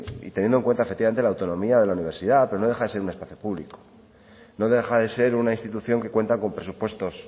teniendo en cuenta efectivamente la autonomía de la universidad pero no deja de ser un espacio público no deja de ser una institución que cuenta con presupuestos